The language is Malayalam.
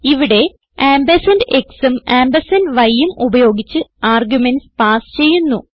ഇവിടെ ആംപർസാൻഡ് xഉം ആംപർസാൻഡ് yഉം ഉപയോഗിച്ച് ആർഗുമെന്റ്സ് പാസ് ചെയ്യുന്നു